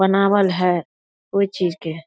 बनावल हेय कोय चीज के।